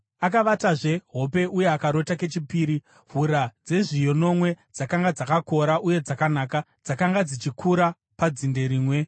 Akavatazve hope uye akarota kechipiri: Hura dzezviyo nomwe dzakanga dzakakora uye dzakanaka, dzakanga dzichikura padzinde rimwe.